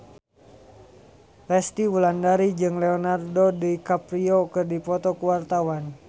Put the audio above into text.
Resty Wulandari jeung Leonardo DiCaprio keur dipoto ku wartawan